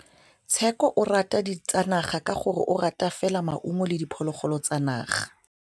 Tshekô o rata ditsanaga ka gore o ja fela maungo le diphologolo tsa naga.